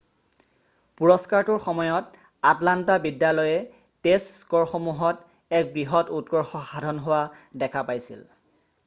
পুৰস্কাৰটোৰ সময়ত আটলান্টা বিদ্যালয়ে টেষ্ট স্ক'ৰসমূহত এক বৃহৎ উৎকৰ্ষ সাধন হোৱা দেখা পাইছিল৷